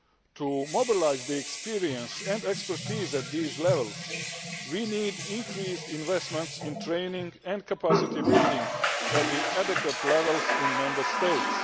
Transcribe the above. To mobilise experience and expertise at these levels, we need increased investment in training and capacity building at appropriate levels in Member States.